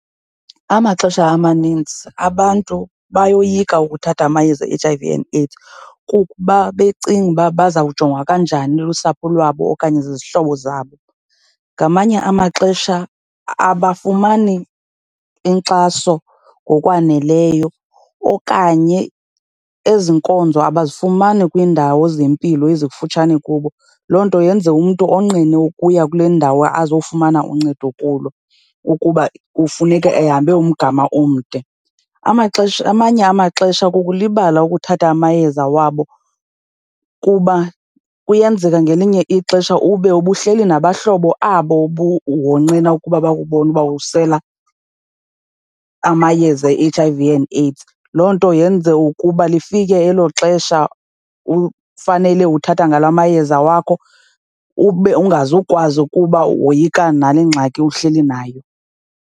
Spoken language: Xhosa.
Amaxesha amanintsi abantu bayoyika ukuthatha amayeza e-H_I_V and AIDS kuba becinga ukuba baza kujongwa kanjani lusapho lwabo okanye zizihlobo zabo. Ngamanye amaxesha abafumani inkxaso ngokwaneleyo okanye ezi nkonzo abazifumani kwiindawo zempilo ezikufutshane kubo, loo nto yenze umntu onqene ukuya kule ndawo azofumana uncedo kulo ukuba kufuneka ehambe umgama omde. Amaxesha, amanye amaxesha kukulibala ukuthatha amayeza wabo kuba kuyenzeka ngelinye ixesha ube ubuhleli nabahlobo abo wonqena ukuba bakubone uba usela amayeza e-H_I_V and AIDS, loo nto yenze ukuba lifike elo xesha ufanele uthatha ngalo amayeza wakho ube ungazukwazi kuba woyika nale ngxaki uhleli nayo.